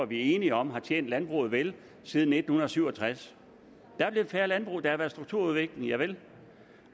vi er enige om har tjent landbruget vel siden nitten syv og tres der er blevet færre landbrug der har været strukturudvikling javel